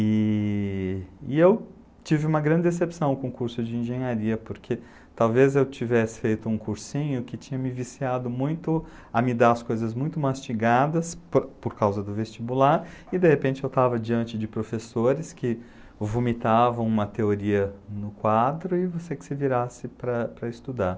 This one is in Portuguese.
E eu tive uma grande decepção com o curso de engenharia, porque talvez eu tivesse feito um cursinho que tinha me viciado muito a me dar as coisas muito mastigadas por causa do vestibular, e de repente eu estava diante de professores que vomitavam uma teoria no quadro e você que se virasse para estudar.